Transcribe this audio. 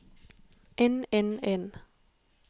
inn inn inn